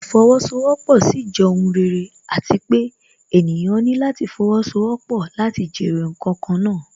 Ìfowósowọ́pọ̀ sì jẹ́ ohùn rere àti pé ènìyàn ní láti fowósowọ́pọ̀ láti jèrè ǹkan kan náà